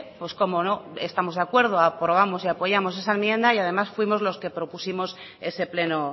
pues cómo no estamos de acuerdo aprobamos y apoyamos esa enmienda y además fuimos los que propusimos ese pleno